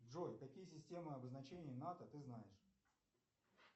джой какие системы обозначения нато ты знаешь